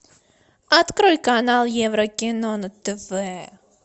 открой канал еврокино на тв